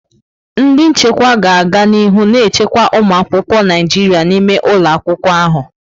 Ndị nchekwa ga-aga n'ihu na-echekwa ụmụ akwụkwọ Naịjirịa n'ime ụlọ akwụkwọ ahụ.